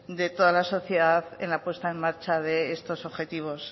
de toda la sociedad en la puesta en marcha de estos objetivos